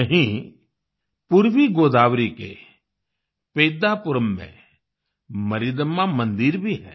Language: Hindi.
यहीं पूर्वी गोदावरी के पेद्धापुरम में मरिदम्मा मंदिर भी है